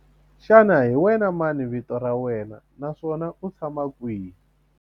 Xana hi wena mani vito ra wena naswona u tshama kwihi?